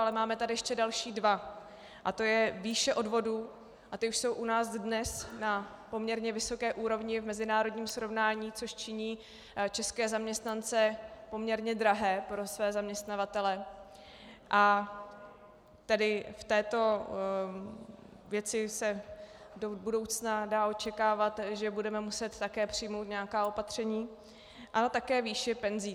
Ale máme tady ještě další dva, a to je výše odvodů - a ty už jsou u nás dnes na poměrně vysoké úrovni v mezinárodním srovnání, což činí české zaměstnance poměrně drahé pro své zaměstnavatele, a tedy v této věci se do budoucna dá očekávat, že budeme muset také přijmout nějaká opatření -, ale také výši penzí.